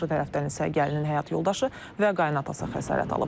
Qarşı tərəfdən isə gəlinin həyat yoldaşı və qayınatası xəsarət alıb.